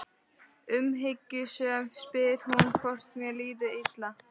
Umhyggjusöm spyr hún hvort mér líði illa.